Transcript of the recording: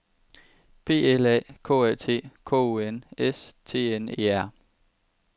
P L A K A T K U N S T N E R